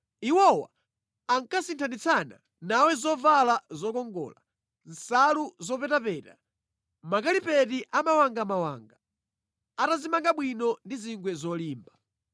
Iwowa ankasinthanitsana nawe zovala zokongola, nsalu zopetapeta, zoyala pansi za mawangamawanga, atazimanga bwino ndi zingwe zolimba.